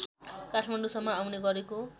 काठमाडौँसम्म आउने गरेको